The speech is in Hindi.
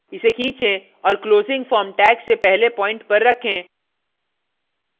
इसे खीचें और closing form tag से पहले प्वाइंट पर रखें